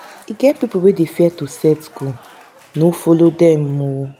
e get pipo wey dey fear to set goal no folo demooo.